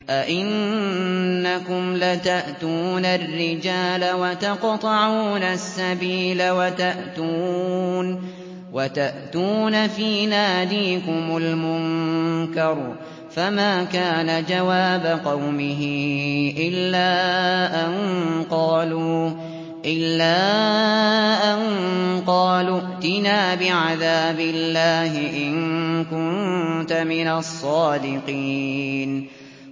أَئِنَّكُمْ لَتَأْتُونَ الرِّجَالَ وَتَقْطَعُونَ السَّبِيلَ وَتَأْتُونَ فِي نَادِيكُمُ الْمُنكَرَ ۖ فَمَا كَانَ جَوَابَ قَوْمِهِ إِلَّا أَن قَالُوا ائْتِنَا بِعَذَابِ اللَّهِ إِن كُنتَ مِنَ الصَّادِقِينَ